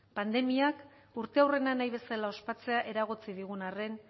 pandemiak urteurrena nahi bezala ospatzea eragotzi digun arren